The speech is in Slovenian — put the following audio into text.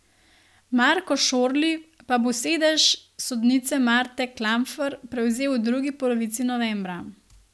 Marko Šorli pa bo sedež sodnice Marte Klampfer prevzel v drugi polovici novembra.